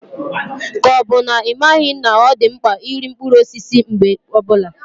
Ka ọ bụ na ị maghị na ọ dị mkpa iri mkpụrụ osisi mgbe ọbula?